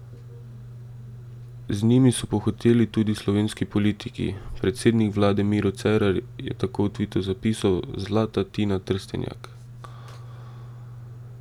Z njimi so pohiteli tudi slovenski politiki, predsednik vlade Miro Cerar je tako v tvitu zapisal Zlata Tina Trstenjak!